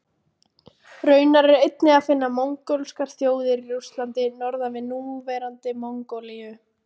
Raunar er einnig að finna mongólskar þjóðir í Rússlandi norðan við núverandi Mongólíu.